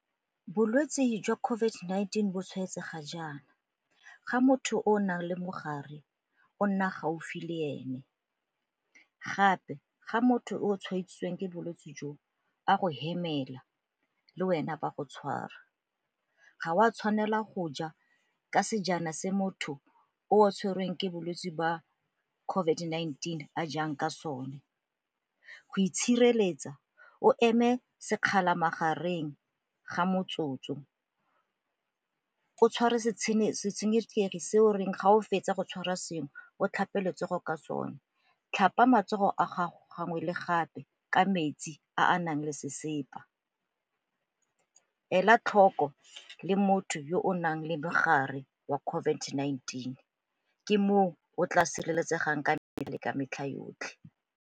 Bolwetsi jwa COVID-19 bo tshwaetsega jaana ga motho o o nang le mogare o nna gaufi le ene, gape ga motho o tshwaetsitsweng ke bolwetsi jo a go hemela le wena bo a go tshwara, ga o a tshwanela go ja ka sejana se motho o tshwerweng ke bolwetsi jwa COVID-19 a jang ka sone. Go itshireletsa o eme sekgala magareng ga motsotso, o tshware setshenekegi se o reng ga o fetsa go tshwara sengwe o tlhape letsogo ka sone, tlhapa matsogo a gago gangwe le gape ka metsi a a nang le sesepa, ela tlhoko le motho yo o nang le mogare wa COVID-19 ke moo o tla sireletsegang ka mmele ka metlha yotlhe.